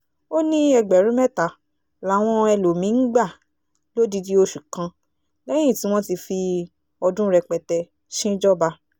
ó ní ẹgbẹ̀rún mẹ́ta làwọn ẹlòmí-ín gbà lódidi oṣù kan lẹ́yìn tí wọ́n ti fi ọdún rẹpẹtẹ ṣíńjọba